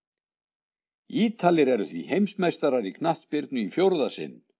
Ítalir eru því heimsmeistarar í knattspyrnu í fjórða sinn!